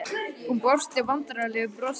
Hann brosti vandræðalegu brosi.